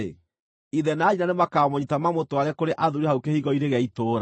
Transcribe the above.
ithe na nyina nĩmakamũnyiita mamũtware kũrĩ athuuri hau kĩhingo-inĩ gĩa itũũra.